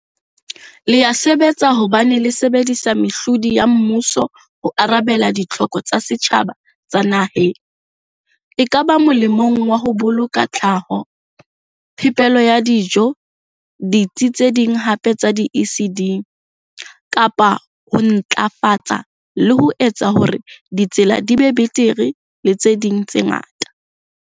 Le ya sebetsa hobane le sebedisa mehlodi ya mmuso ho arabela ditlhoko tsa setjhaba tsa naheng, ekaba molemong wa ho boloka tlhaho, phepelo ya dijo, ditsi tse ding hape tsa di-ECD, kapa ho ntlafatsa le ho etsa hore ditsela di be betere le tse ding tse ngata.